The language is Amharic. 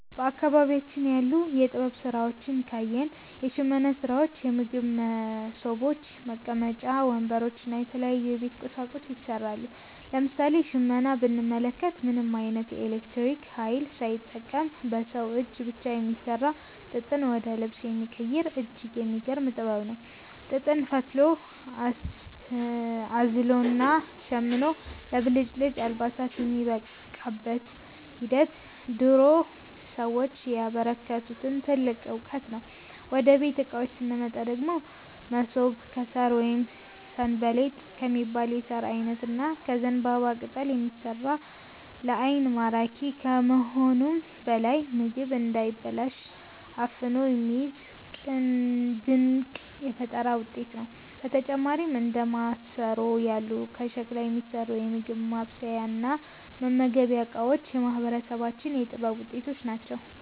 በአካባቢያችን ያሉ የጥበብ ሥራዎችን ካየን፣ የሽመና ሥራዎች፣ የምግብ መሶቦች፣ መቀመጫ ወንበሮች እና የተለያዩ የቤት ቁሳቁሶች ይሠራሉ። ለምሳሌ ሽመናን ብንመለከት፣ ምንም ዓይነት የኤሌክትሪክ ኃይል ሳይጠቀም በሰው እጅ ብቻ የሚሠራ፣ ጥጥን ወደ ልብስ የሚቀይር እጅግ የሚገርም ጥበብ ነው። ጥጥን ፈትሎ፣ አዝሎና ሸምኖ ለብልጭልጭ አልባሳት የሚያበቃበት ሂደት የድሮ ሰዎች ያበረከቱልን ትልቅ ዕውቀት ነው። ወደ ቤት ዕቃዎች ስንመጣ ደግሞ፣ መሶብ ከሣር ወይም 'ሰንበሌጥ' ከሚባል የሣር ዓይነት እና ከዘንባባ ቅጠል የሚሠራ፣ ለዓይን ማራኪ ከመሆኑም በላይ ምግብ እንዳይበላሽ አፍኖ የሚይዝ ድንቅ የፈጠራ ውጤት ነው። በተጨማሪም እንደ ማሰሮ ያሉ ከሸክላ የሚሠሩ የምግብ ማብሰያና መመገቢያ ዕቃዎችም የማህበረሰባችን የጥበብ ውጤቶች ናቸው።